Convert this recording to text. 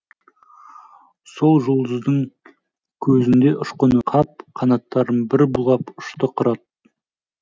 сол жұлдыздың көзінде ұшқыны қап қанаттарын бір бұлғап ұшты қырат